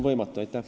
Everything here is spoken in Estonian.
Aitäh!